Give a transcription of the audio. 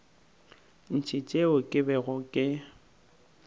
ntši tšeo ke bego ke